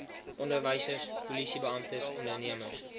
onderwysers polisiebeamptes ondernemers